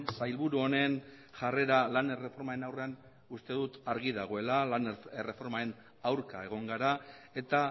sailburu honen jarrera lan erreformaren aurrean uste dut argi dagoela lan erreformaren aurka egon gara eta